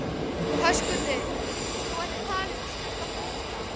Höskuldur: Þú ert að tala um íslenska pósta?